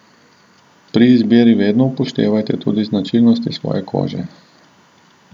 Pri izbiri vedno upoštevajte tudi značilnosti svoje kože.